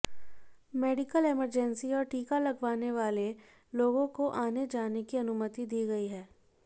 medical emergency और टीका लगवाने वाले लोगों को आने जाने की अनुमति दी गई है